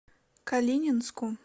калининску